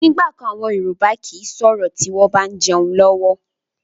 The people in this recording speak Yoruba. Ni ìgbàkan àwọn Yorùbá kii sọ̀rọ̀ tí wọn bá ń jẹun lọ́wọ́